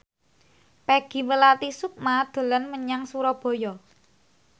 Peggy Melati Sukma dolan menyang Surabaya